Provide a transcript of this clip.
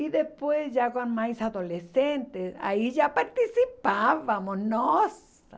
E depois, já com mais adolescentes, aí já participávamos, nossa!